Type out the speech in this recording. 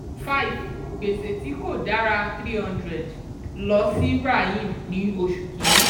five gbèsè tí kò dára three hundred lọ sí rahim ní oṣù kìíní.